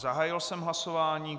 Zahájil jsem hlasování.